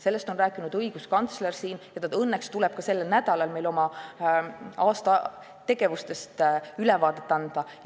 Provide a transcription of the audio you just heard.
Sellest on siin rääkinud õiguskantsler ja õnneks tuleb ta ka sel nädalal meile oma aasta tegevusest ülevaadet andma.